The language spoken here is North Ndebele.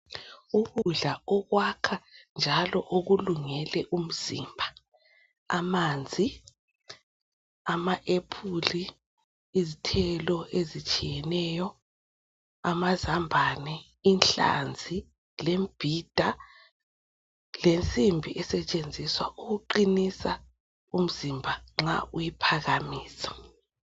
Ukudla okwakha njalo okulungele umzimba amanzi, ama ephuli izithelo ezitshiyeneyo amazambane inhlanzi lembida lensimbi esetshenziswa ukuqinisa umzimba nxa uyiphakamisa.